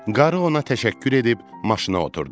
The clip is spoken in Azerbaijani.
Qarı ona təşəkkür edib maşına oturdu.